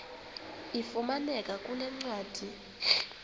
ifumaneka kule ncwadi